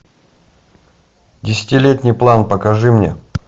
десятилетний план покажи мне